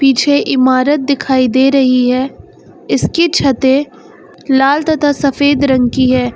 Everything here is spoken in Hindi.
पीछे इमारत दिखाई दे रही है इसकी छते लाल तथा सफेद रंग की है।